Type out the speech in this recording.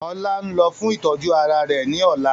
Ọlá ń lọ fún ìtọ́jú ara rẹ ní ọ̀la